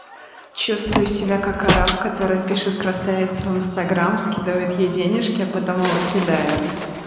чувствую себя как араб который пишет красавицам в инстаграм скидывает и денежки а потом его кидают